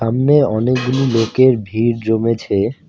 সামনে অনেকগুলি লোকের ভিড় জমেছে।